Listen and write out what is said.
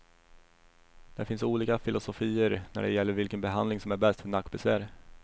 Det finns olika filosofier när det gäller vilken behandling som är bäst för nackbesvär.